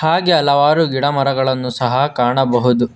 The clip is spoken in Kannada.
ಹಾಗೆ ಹಲವಾರು ಗಿಡ ಮರಗಳನ್ನು ಸಹ ಕಾಣಬಹುದು.